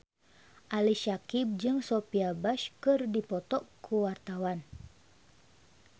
Ali Syakieb jeung Sophia Bush keur dipoto ku wartawan